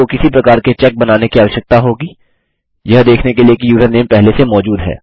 आप को किसी प्रकार के चेक बनाने की आवश्यकता होगी यह देखने के लिए कि यूज़रनेम पहले से मौजूद है